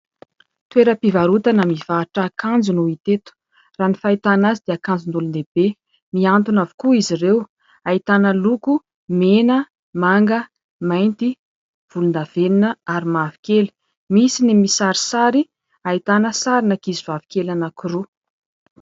Toeram-pivarotana mivarotra akanjo no hita eto. Raha ny fahitana azy dia akanjon'olon-dehibe. Miantona avokoa izy ireo, ahitana loko mena, manga, mainty, volondavenona ary mavokely. Misy ny misarisary ahitana sarin'ankizivavy kely anakiroa.